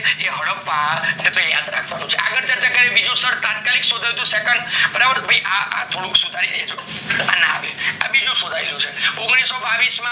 એ હડપ્પા એ યાદ રાખવાનું છે આગળ ચર્ચા કરીએ, બીજું સ્થળ તટ કલીક શોથાયેલું તું તો આ થોસુક આ ના આવે આ બીજું શૂથાયેલું છે ઓગણીસો બાવીસ